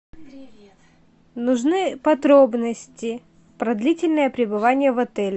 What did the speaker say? нужны подробности про длительное пребывание в отеле